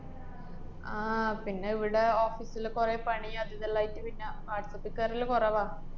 ആഹ് പിന്നെ ഇവടെ office ല് കുറേ പണി അതുദുല്ലായിട്ട് പിന്നെ വാട്സപ്പി കേറല് കുറവാ.